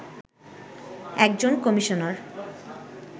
একজন কমিশনার